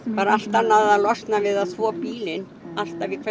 er allt annað að losna við að þvo bílinn alltaf í hvert